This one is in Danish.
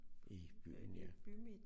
I byen ja